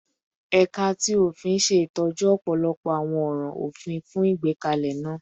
Ẹka ti ofin ṣe itọju ọpọlọpọ awọn ọran ofin fun igbekalẹ naa